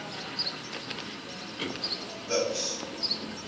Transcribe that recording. buks